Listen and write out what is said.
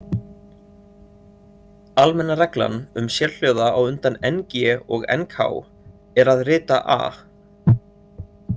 Almenna reglan um sérhljóða á undan- ng- og- nk- er að rita a.